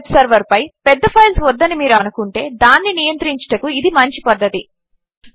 మీ web సర్వర్పై పెద్ద files వద్దని మీరు అనుకుంటే దానిని నియంత్రించుటకు ఇది మంచి పద్ధతి